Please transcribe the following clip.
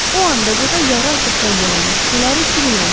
O andaca da yarıaçıq pəncərənin şüşələri cilikləndi.